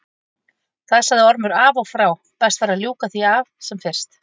Það sagði Ormur af og frá, best væri að ljúka því af sem fyrst.